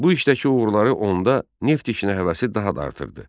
Bu işdəki uğurları onda neft işinə həvəsi daha da artırdı.